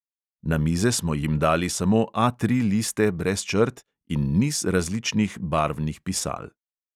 Na mize smo jim dali samo A tri liste brez črt in niz različnih barvnih pisal.